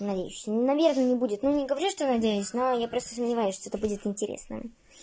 надеюсь наверное не будет но не говорю что надеюсь но я просто сомневаюсь что-то будет интересное